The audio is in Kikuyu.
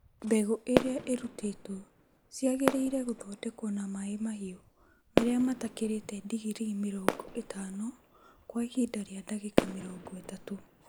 Mbegũ iria irutĩtwo ciagĩrĩire gũthondekwo na maĩ mahiũ marĩa matakĩrĩtie digirii mĩrongo ĩtano kwa ihinda rĩa ndagĩka mĩrongo ĩtatũ